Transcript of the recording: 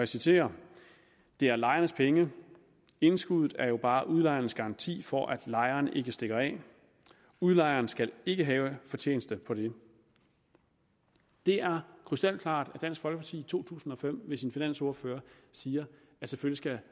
citerer det er lejerens penge indskuddet er jo bare udlejerens garanti for at lejeren ikke stikker af udlejeren skal ikke have fortjeneste på det det er krystalklart at dansk folkeparti i to tusind og fem ved sin finansordfører siger at selvfølgelig